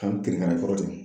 An kirikara i kɔrɔ tugun